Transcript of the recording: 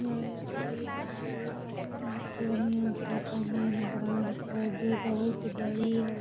ये एस.बी.आई. पूर्णिया शाखा main branch है जो बहुत बड़ी है।